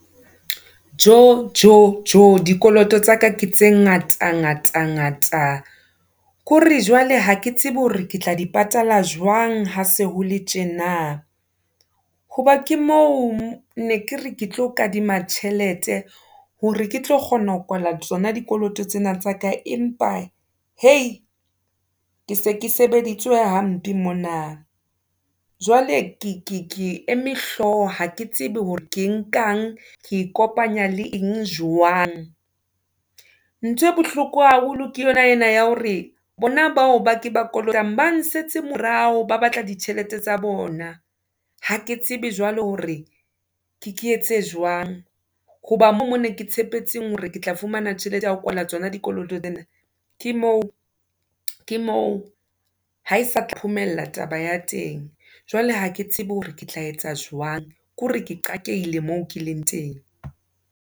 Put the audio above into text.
Tjo, tjo, tjo, dikoloto tsaka ke tse ngata, ngata, ngata, ke hore jwale ha ke tsebe hore ke tla di patala jwang ha se hole tjena. Hoba ke mo ne kere ke tlo kadima tjhelete, hore ke tlo kgona ho kwala tsona dikoloto tsena tsa ka. Empa, hei, ke se ke sebeditse hampe mona, jwale ke ke ke eme hlooho, ha ke tsebe hore ke nkang, ke e kopanya le eng, jwang. Nthwe bohloko haholo ke yona ena ya hore, bona bao ba ke ba kolotang, ba nsetse morao, ba batla ditjhelete tsa bona. Ha ke tsebe jwale hore, ke ke etse jwang, hoba mo mo ne ke tshepetseng hore ke tla fumana tjhelete ya ho kwala tsona dikoloto tsena. Ke moo, ke moo, ha e sa phomella taba ya teng, jwale ha ke tsebe hore ke tla etsa jwang, ke hore ke qakehile moo ke leng teng.